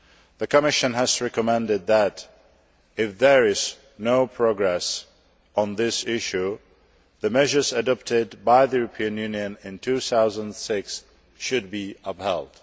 The Commission has recommended that, if there is no progress on this issue, the measures adopted by the European Union in 2006 should be upheld.